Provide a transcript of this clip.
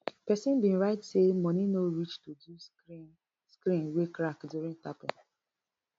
pesin bin write say money no reach to do screen screen wey crack during tapping